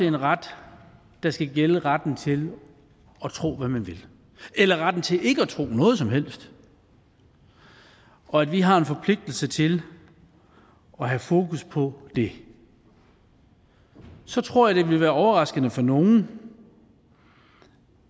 en ret der skal gælde retten til at tro hvad man vil eller retten til ikke at tro noget som helst og at vi har en forpligtelse til at have fokus på det så tror jeg det vil være overraskende for nogle